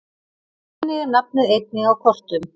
Þannig er nafnið einnig á kortum.